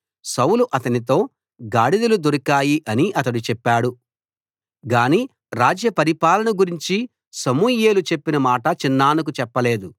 సౌలు అతనితో గాడిదలు దొరికాయి అని అతడు చెప్పాడు అని చెప్పాడు గానీ రాజ్య పరిపాలనను గురించి సమూయేలు చెప్పిన మాట చిన్నాన్నకు చెప్పలేదు